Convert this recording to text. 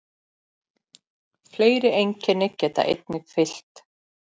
Fleiri einkenni geta einnig fylgt.